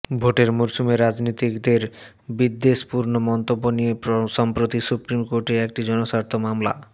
ভোটের মরসুমে রাজনীতিকদের বিদ্বেষপূর্ণ মন্তব্য নিয়ে সম্প্রতি সুপ্রিম কোর্টে একটি জনস্বার্থ মামলা